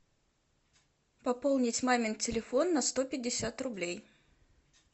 пополнить мамин телефон на сто пятьдесят рублей